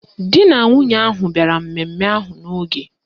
Di na nwunye ahụ bịara mmemme ahụ n'oge